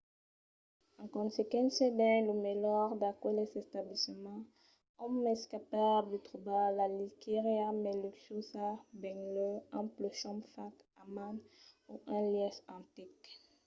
en consequéncia dins lo melhor d'aqueles establiments òm es capable de trobar la liechariá mai luxuosa benlèu un plumon fach a man o un lièch antic